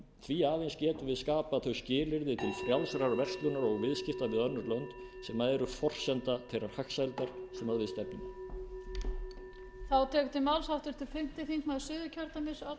því aðeins getum við skapað skilyrði til frjálsrar verslunar og viðskipta við önnur lönd sem eru forsenda þeirrar hagsældar sem við stefnum að